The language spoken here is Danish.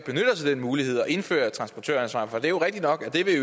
den mulighed at indføre transportøransvar for det er jo rigtigt nok at